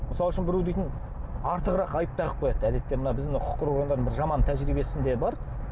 мысал үшін біреу дейтін артығырақ айып тағып қояды әдетте мына біздің құқық қорғау органдарының жаман тәжірибесінде бар